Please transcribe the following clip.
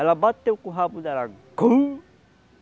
Ela bateu com o rabo dela.